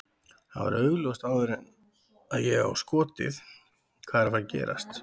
Það var augljóst áður en að ég á skotið hvað er að fara að gerast.